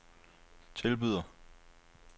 tilbyder